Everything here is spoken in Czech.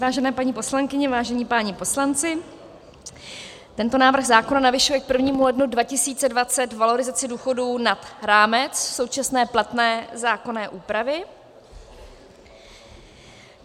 Vážené paní poslankyně, vážení páni poslanci, tento návrh zákona navyšuje k 1. lednu 2020 valorizaci důchodů nad rámec současné platné zákonné úpravy.